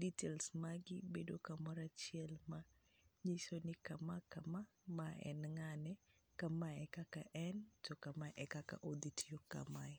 details magoi bedo kamoro achiel ma nyiso ni kama kama ma en ng'ane, kama en kaka en to kama e kaka odhi tiyo kamae.